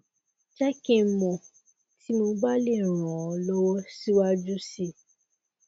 je ki n mo ti mo ba le ran o lowo siwaju si